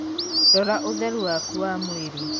Rora ūtheru waku wa mwīrī.